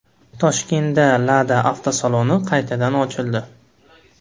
Toshkentda Lada avtosaloni qaytadan ochildi.